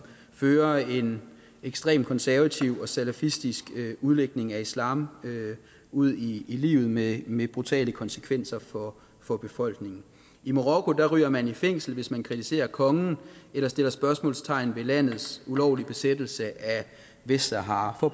fører en ekstremt konservativ og salafistisk udlægning af islam ud i livet med med brutale konsekvenser for for befolkningen i marokko ryger man i fængsel hvis man kritiserer kongen eller sætter spørgsmålstegn ved landets ulovlige besættelse af vestsahara